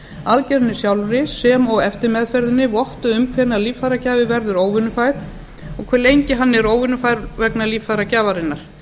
aðgerðinni sjálfri sem og eftirmeðferðinni votti um hvenær líffæragjafi verður óvinnufær og hve lengi hann er óvinnufær vegna líffæragjafarinnar